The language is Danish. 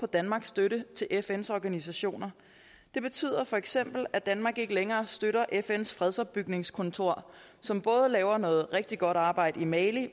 danmarks støtte til fns organisationer det betyder feks at danmark ikke længere støtter fns fredsopbygningskontor som både laver noget rigtig godt arbejde i mali